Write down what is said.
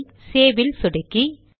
file save இல் சொடுக்கி